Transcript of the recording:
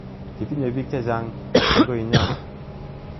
Kitinye piik che chang' eng' konyon.